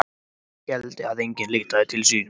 Ef hann héldi að enginn leitaði sín.